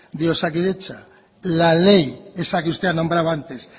de osakidetza la ley esa que usted ha nombrado antes